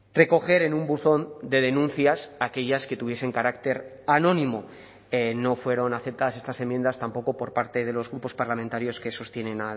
recoger en un buzón de denuncias aquellas que tuviesen carácter anónimo no fueron aceptadas estas enmiendas tampoco por parte de los grupos parlamentarios que sostienen